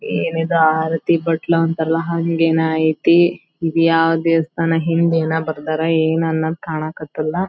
ಏನಿದು ಆರತಿ ಬಟ್ಲು ಅಂತರ ಅಲ್ಲಾ ಹಂಗೆ ಏನೋ ಐತಿ ಈದ್ ಯಾವ ದೇವಸ್ಥಾನ ಹಿಂದ್ ಏನೋ ಬರ್ದರ್ ಏನೋ ಕಾಣ್ ಕತ್ತಿಲ್ಲಾ.